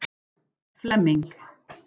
Flemming